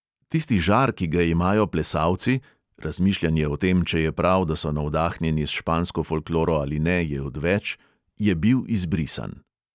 Tisti žar, ki ga imajo plesalci – razmišljanje o tem, če je prav, da so navdahnjeni s špansko folkloro ali ne, je odveč – je bil izbrisan.